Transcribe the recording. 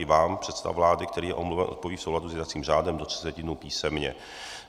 I vám předseda vlády, který je omluven, odpoví v souladu s jednacím řádem do třiceti dnů písemně.